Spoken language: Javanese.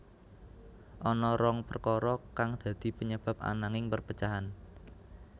Ana rong perkara kang dadi penyebab ananing perpecahan